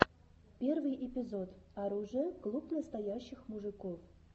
первый эпизод оружия клуб настоящих мужиков